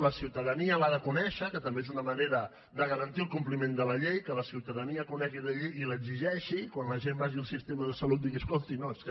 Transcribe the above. la ciutadania l’ha de conèixer que també és una manera de garantir el compliment de la llei que la ciutadania conegui la llei i l’exigeixi quan la gent vagi al sistema de salut i digui escolti no és que